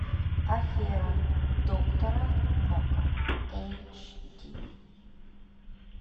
афера доктора нока эйч ди